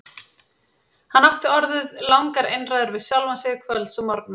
Hann átti orðið langar einræður við sjálfan sig kvölds og morgna.